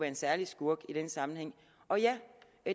en særlig skurk i den sammenhæng og ja